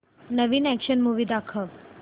नवीन action movie दाखव